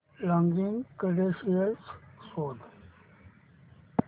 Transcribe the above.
login credentials शोध